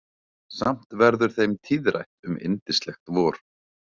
Samt verður þeim tíðrætt um yndislegt vor.